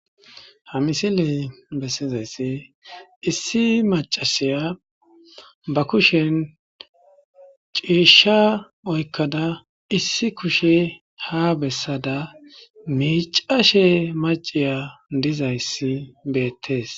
Ha misiley bessizayssi issi macasiya ba kushen ciishsha oykkada issi kushe ha bessada miicashe maciya dizayssi beettes.